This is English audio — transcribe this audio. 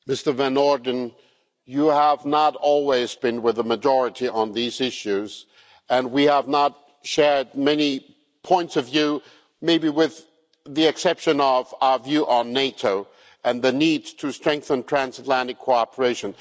Mr Van Orden, you have not always been with the majority on these issues and we have not shared many points of view, maybe with the exception of our view on NATO and the need to strengthen transatlantic cooperation.